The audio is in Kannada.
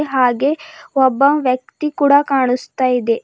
ಹಾಗೆ ಒಬ್ಬ ವ್ಯಕ್ತಿ ಕೂಡ ಕಾಣಿಸ್ತಾ ಇದೆ.